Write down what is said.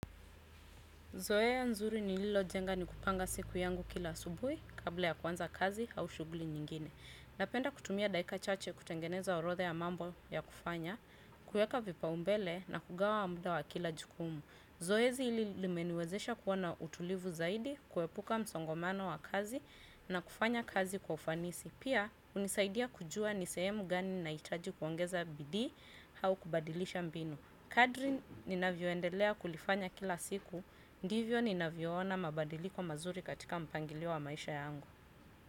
Zoea nzuri nililojenga ni kupanga siku yangu kila asubuhi kabla ya kuanza kazi au shuguli nyingine. Napenda kutumia daika chache kutengeneza orotha ya mambo ya kufanya, kueka vipaumbele na kugawa muda wa kila jukumu. Zoezi hili limeniwezesha kuwa na utulivu zaidi, kuepuka msongomano wa kazi na kufanya kazi kwa ufanisi. Pia, unisaidia kujua ni sehemu gani nahitaji kuongeza bidii au kubadilisha mbinu. Kadri ninavyoendelea kulifanya kila siku ndivyo ninavyoona mabadiliko mazuri katika mpangilio wa maisha yangu.